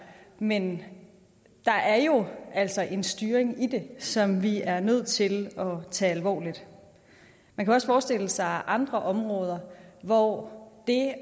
men der er jo altså en styring i det som vi er nødt til at tage alvorligt man kan også forestille sig andre områder hvor det